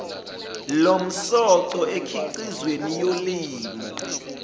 lomsoco emikhiqizweni yolimo